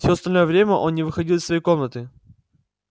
всё остальное время он не выходил из своей комнаты